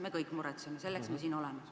Me kõik muretseme, selleks me siin oleme.